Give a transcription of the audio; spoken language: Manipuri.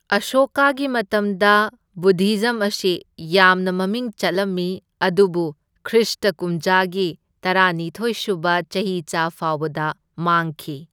ꯑꯁꯣꯀꯥꯒꯤ ꯃꯇꯝꯗ ꯕꯨꯗꯙꯤꯖꯝ ꯑꯁꯤ ꯌꯥꯝꯅ ꯃꯃꯤꯡ ꯆꯠꯂꯝꯃꯤ, ꯑꯗꯨꯕꯨ ꯈ꯭ꯔꯤꯁꯇ ꯀꯨꯝꯖꯥꯒꯤ ꯇꯔꯥꯅꯤꯊꯣꯢ ꯁꯨꯕ ꯆꯍꯤꯆꯥ ꯐꯥꯎꯕꯗ ꯃꯥꯡꯈꯤ꯫